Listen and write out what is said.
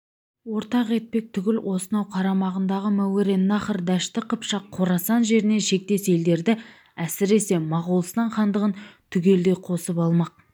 ортақ етпек түгіл осынау қарамағындағы мауреннахр дәшті қыпшақ қорасан жеріне шектес елдерді әсіресе моғолстан хандығын түгелдей қосып алмақ